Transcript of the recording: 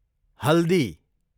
हल्दी